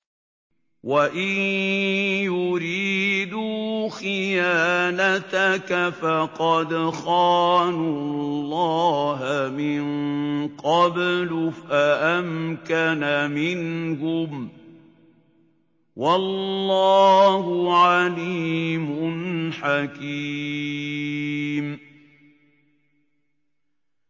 وَإِن يُرِيدُوا خِيَانَتَكَ فَقَدْ خَانُوا اللَّهَ مِن قَبْلُ فَأَمْكَنَ مِنْهُمْ ۗ وَاللَّهُ عَلِيمٌ حَكِيمٌ